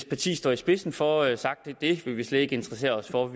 parti står i spidsen for jo sagt det vil vi slet ikke interessere os for